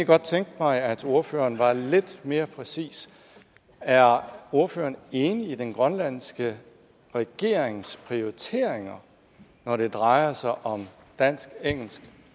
godt tænke mig at ordføreren var lidt mere præcis er ordføreren enig i den grønlandske regerings prioriteringer når det drejer sig om dansk engelsk